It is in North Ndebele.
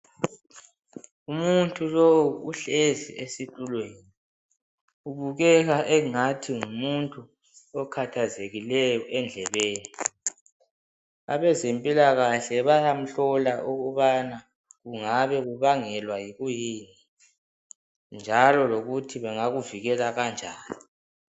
Umuntu lowu uhlezi esitulweni ubukeka engathi ngumuntu okhathazekileyo endlebeni abezempilakahle bayamhlola ukubana kungabe kubangelwa yikuyini njalo lokuthi bangakuvikela kanjani.